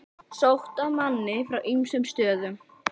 Sótt að manni frá ýmsum stöðum.